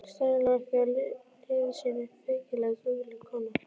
Steinunn lá ekki á liði sínu, feykilega dugleg kona.